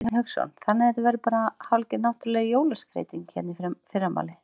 Hafsteinn Hauksson: Þannig þetta verður bara hálfgerð náttúruleg jólaskreyting hérna í fyrramálið?